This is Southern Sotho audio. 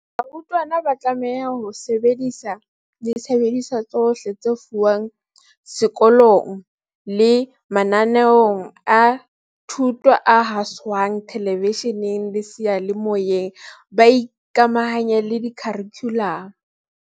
Barutwana ba tlameha ho sebedisa disebediswa tsohle tse fumanehang seko long le mananeong a thuto a haswang thelevishe neng le seyalemoyeng, ba ikamahantse le kharikhulamo.